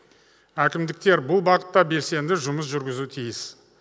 әкімдіктер бұл бағытта белсенді жұмыс жүргізуі тиіс